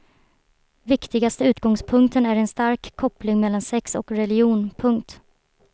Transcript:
Viktigaste utgångspunkten är en stark koppling mellan sex och religion. punkt